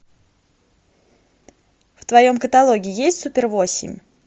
в твоем каталоге есть супер восемь